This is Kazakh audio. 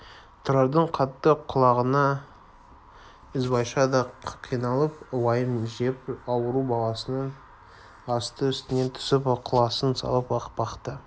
тұрардың қатты құлағанына ізбайша да қиналып уайым жеп ауру баланың асты-үстіне түсіп ықыласын салып-ақ бақты